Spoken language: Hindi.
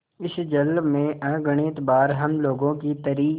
इस जल में अगणित बार हम लोगों की तरी